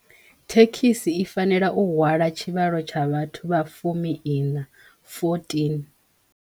Thekhisi i fanela u hwala tshivhalo tsha vhathu vha fumi iṋa, fourteen.